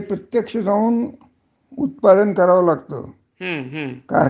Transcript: हं, बरोबर आहे. त्यांना ते म्हणजे आलेच नाहीत तर काहीच नाही ना.